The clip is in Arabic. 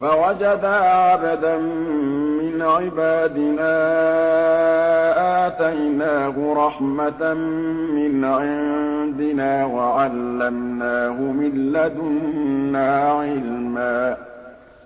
فَوَجَدَا عَبْدًا مِّنْ عِبَادِنَا آتَيْنَاهُ رَحْمَةً مِّنْ عِندِنَا وَعَلَّمْنَاهُ مِن لَّدُنَّا عِلْمًا